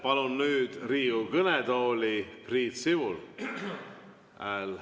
Palun nüüd Riigikogu kõnetooli Priit Sibula.